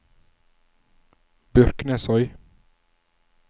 Byrknesøy